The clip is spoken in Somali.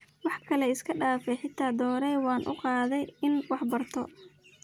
Waxkale iskadaaf eeh xita doorey wan ukaade ini waxbarto.